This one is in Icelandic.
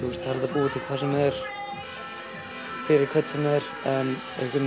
búa til hvað sem er fyrir hvern sem er en